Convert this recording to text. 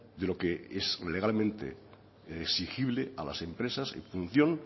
de lo que es legalmente exigible a las empresas en función